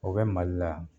O bɛ mali la